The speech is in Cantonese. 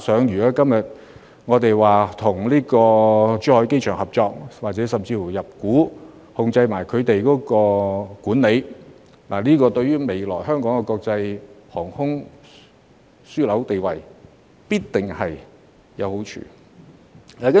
如果今天我們與珠海機場合作，甚至入股，參與其管理，這對於未來香港的國際航空樞紐地位，必然會有好處。